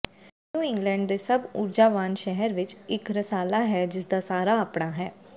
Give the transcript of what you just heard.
new England ਦੇ ਸਭ ਊਰਜਾਵਾਨ ਸ਼ਹਿਰ ਵਿਚ ਇਕ ਰਸਾਲਾ ਹੈ ਜਿਸਦਾ ਸਾਰਾ ਆਪਣਾ ਹੈ